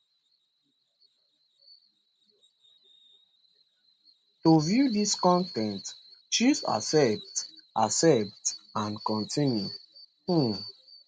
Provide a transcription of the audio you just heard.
to view dis con ten t choose accept accept and continue um